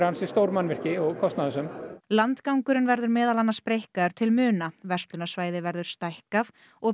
stór mannvirki og kostnaðarsöm landgangurinn verður meðal annars breikkaður til muna verslunarsvæði verður stækkað og